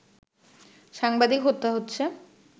সাংবাদিক হত্যা হচ্ছে